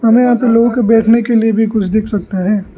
हमे यहां पे लोगो के बैठने के लिए भी कुछ दिख सकता है।